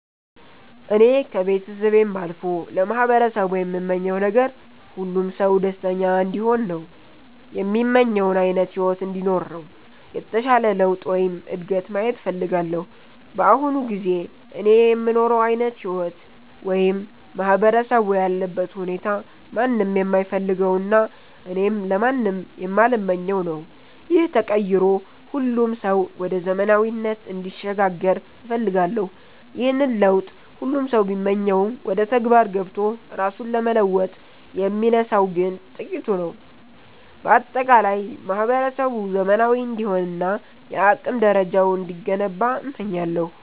እኔ ከቤተሰቤም አልፎ ለማህበረሰቡ የምመኘው ነገር፣ ሁሉም ሰው ደስተኛ እንዲሆን እና የሚመኘውን ዓይነት ሕይወት እንዲኖር ነው። የተሻለ ለውጥ ወይም እድገት ማየት እፈልጋለሁ። በአሁኑ ጊዜ እኔ የምኖረው ዓይነት ሕይወት ወይም ማህበረሰቡ ያለበት ሁኔታ ማንም የማይፈልገውና እኔም ለማንም የማልመኘው ነው። ይህ ተቀይሮ ሁሉም ሰው ወደ ዘመናዊነት እንዲሸጋገር እፈልጋለሁ። ይህንን ለውጥ ሁሉም ሰው ቢመኘውም፣ ወደ ተግባር ገብቶ ራሱን ለመለወጥ የሚነሳው ግን ጥቂቱ ነው። በአጠቃላይ ማህበረሰቡ ዘመናዊ እንዲሆንና የአቅም ደረጃው እንዲገነባ እመኛለሁ።